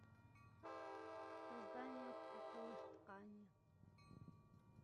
создание кукол из ткани